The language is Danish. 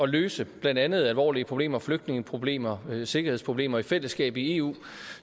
løse blandt andet alvorlige problemer flygtningeproblemer sikkerhedsproblemer i fællesskab i eu